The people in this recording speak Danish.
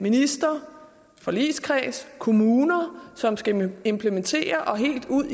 minister forligskreds kommuner som skal implementere og helt ud